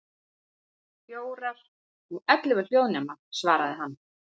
Fjórar, og ellefu hljóðnema, svaraði hann.